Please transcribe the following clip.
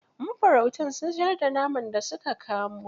Mafarautan sun siyar da naman da su ka kamo.